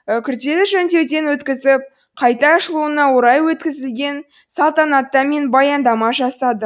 күрделі жөндеуден өткізіп қайта ашылуына орай өткізілген салтанатта мен баяндама жасады